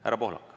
Härra Pohlak.